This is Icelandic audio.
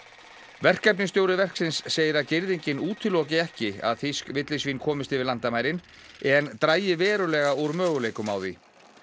verkefnisstjóri verksins segir að girðingin útiloki ekki að þýsk villisvín komist yfir landamærin en dragi verulega úr möguleikum á því